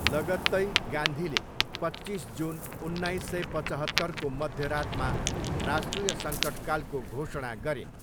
लगत्तै, गान्धीले पच्चिस जुन उन्नाइस सय पचहत्तरको मध्यरातमा राष्ट्रिय सङ्कटकालको घोषणा गरिन्।